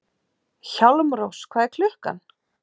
Hjálmrós, hvað er klukkan?